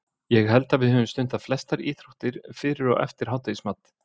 Ég held að við höfum stundað flestar íþróttir, fyrir og eftir hádegismat.